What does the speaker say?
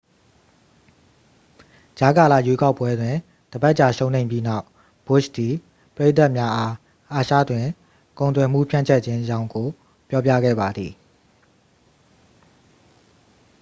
ကြားကာလရွေးကောက်ပွဲတွင် တစ်ပတ်ကြာရှုံးနိမ့်ပြီးနောက် ဘွတ်ရှ်သည် ပရိသတ်များအား အာရှတွင် ကုန်သွယ်မှုဖြန့်ကျက်ခြင်းအကြောင်းကို ပြောပြခဲ့ပါသည်